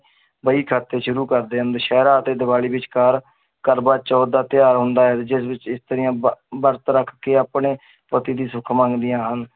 ਵਹੀ ਖਾਤੇ ਸ਼ੁਰੂ ਕਰਦੇ ਹਨ ਦੁਸਹਿਰਾ ਅਤੇ ਦੀਵਾਲੀ ਵਿਚਕਾਰ ਕਰਵਾ ਚੌਥ ਦਾ ਤਿਉਹਾਰ ਆਉਂਦਾ ਹੈ, ਜਿਸ ਵਿੱਚ ਇਸਤਰੀਆਂ ਬ~ ਬਰਤ ਰੱਖ ਕੇ ਆਪਣੇ ਪਤੀ ਦੀ ਸੁੱਖ ਮੰਗਦੀਆਂ ਹਨ।